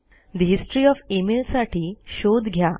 ठे history O F e mail साठी शोध घ्या